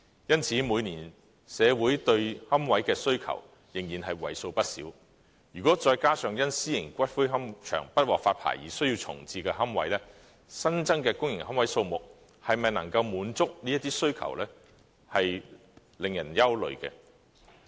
因此，社會每年對龕位的需求仍然為數不少，如果再加上因私營龕場不獲發牌而需要重置的龕位，新增的公營龕位數目能否滿足這些需求，確實令人憂慮。